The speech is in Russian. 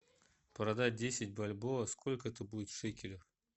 продать десять бальбоа сколько это будет в шекелях